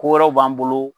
Ko wɛrɛw b'an bolo